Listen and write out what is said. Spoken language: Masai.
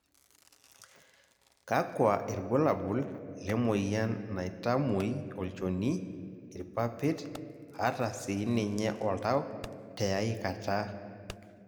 kakua irbulabol lemoyian naitamuoi olnchoni, ir?papit ata sii ninye oltau teiae kata?